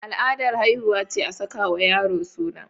Al'adar haihuwa ce a sakawa yaro suna.